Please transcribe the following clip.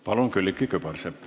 Palun, Külliki Kübarsepp!